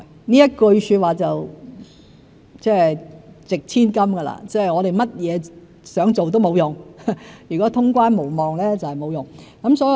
這句說話"值千金"——我們想做甚麼都沒有用，如果通關無望就沒有用。